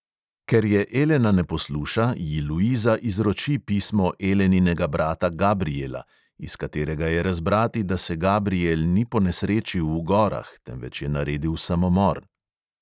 Ker je elena ne posluša, ji luiza izroči pismo eleninega brata gabriela, iz katerega je razbrati, da se gabriel ni ponesrečil v gorah, temveč je naredil samomor.